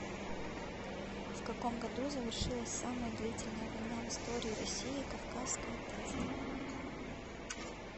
в каком году завершилась самая длительная война в истории россии кавказская тест